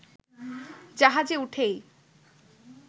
জাহাজে উঠেই